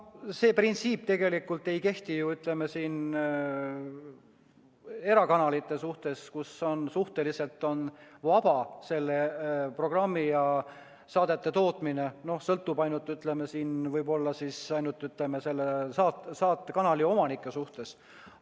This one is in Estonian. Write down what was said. See printsiip tegelikult ei kehti erakanalitele, kus on programmi ja saadete tootmine suhteliselt vaba – noh, sõltub ainult, ütleme, võib-olla ainult selle saate kanali omanike suhtes.